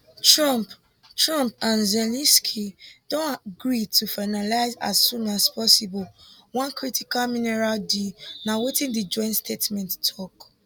trump trump and zelensky don gree to finalise as soon as possible one critical mineral deal na wetin di joint statement tok